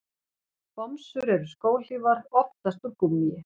Bomsur eru skóhlífar, oftast úr gúmmíi.